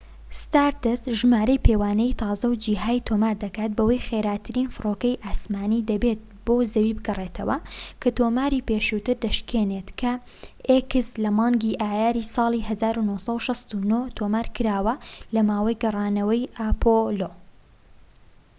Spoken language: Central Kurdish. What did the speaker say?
ستاردەست ژمارەیەی پێوانەیی تازە و جیهای تۆمار دەکات بەوەی خێراترین فڕۆکەی ئاسمانیی دەبێت بۆ زەوی بگەڕێتەوە، کە تۆماری پێشووتر دەشکێنێت کە لە مانگی ئایاری ساڵی 1969 تۆمارکراوە لە ماوەی گەڕانەوەی ئەپۆڵۆx